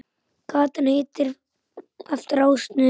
Gatan heitir eftir ásnum Þór.